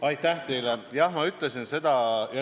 Aitäh teile!